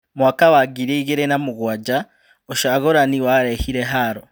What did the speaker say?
Mwaka wa ngiri igĩrĩ na mũgwanja, ũcagũrani warehire haro.